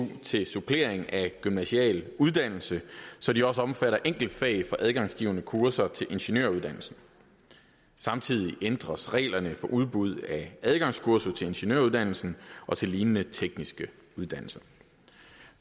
til supplering af gymnasial uddannelse så det også omfatter enkeltfag på adgangsgivende kurser til ingeniøruddannelsen samtidig ændres reglerne for udbud af adgangskurser til ingeniøruddannelsen og til lignende tekniske uddannelser